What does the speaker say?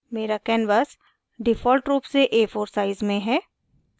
मेरा canvas default रूप से a4 size में हैं